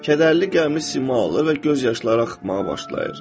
Kədərli, qəmli sima alır və göz yaşları axmağa başlayır.